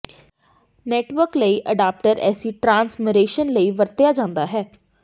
network ਲਈ adapter AC transmission ਲਈ ਵਰਤਿਆ ਜਾਂਦਾ ਹੈ